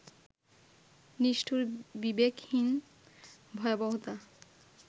নিষ্ঠুর, বিবেকহীন ভয়াবহতা